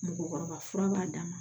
Mɔgɔkɔrɔba fura b'a d'a ma